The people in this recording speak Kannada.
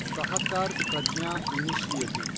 ಸಹಕಾರ್ ಪ್ರಜ್ಞಾ ಇನಿಶಿಯೇಟಿವ್